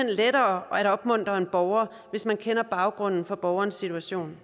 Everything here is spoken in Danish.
lettere at opmuntre en borger hvis man kender baggrunden for borgerens situation